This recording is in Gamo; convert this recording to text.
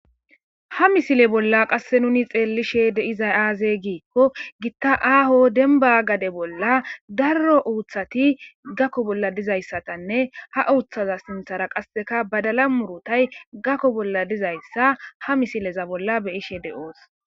ha misile bolla qasse nuni xeellishe deizay aaze giikko gitta aaho demba gade bolla darro uuththati gakko bolla dizayssatanne ha uuththaza sinthara qasseka badala murutay gakko bolla dizayssa ha misileza bolla beyishe de7oos